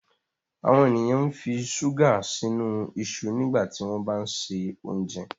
àwọn ènìyàn nfi ṣuga sínú iṣu nígbà tí wón bá ṣe oúnjẹ